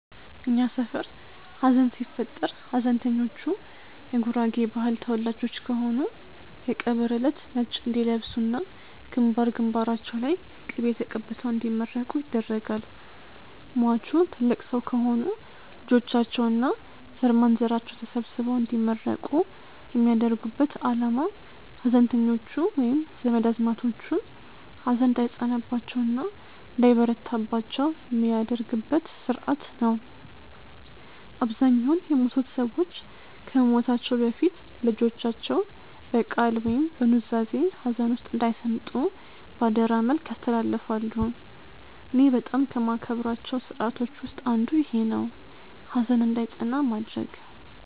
እኛ ሰፈር ሀዘን ሲፈጠር ሀዘንተኞቹ የጉራጌ ባህል ተወላጆች ከሆኑ የቀብር እለት ነጭ እንዲለብሱ እና ግንባር ግንባራቸው ላይ ቅቤ ተቀብተው እንዲመረቁ ይደረጋል። ሟቹ ትልቅ ሰው ከሆኑ ልጆቻቸው እና ዘርማንዘራቸው ተሰብስበው እንዲመረቁ የሚያደርጉበት አላማ ሀዘንተኞቹ ወይም ዘመድ አዝማዶቹ ሀዘን እንዳይጸናባቸው እና እንዳይበረታባቸው የሚደረግበት ስርአት ነው። አብዛኛውን የሞቱት ሰዎች ከመሞታቸው በፊት ለልጆቻቸው በቃል ወይም በኑዛዜ ሀዘን ውስጥ እንዳይሰምጡ በአደራ መልክ ያስተላልፋሉ። እኔ በጣም ከማከብራቸው ስርአቶች ውስጥ አንዱ ይኼ ነው፣ ሀዘን እንዳይጸና ማድረግ።